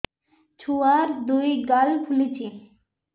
ଛୁଆର୍ ଦୁଇ ଗାଲ ଫୁଲିଚି